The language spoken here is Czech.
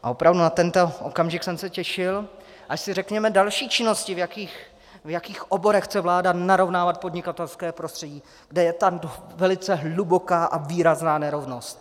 A opravdu na tento okamžik jsem se těšil, až si řekneme další činnosti, v jakých oborech chce vláda narovnávat podnikatelské prostředí, kde je tam velice hluboká a výrazná nerovnost.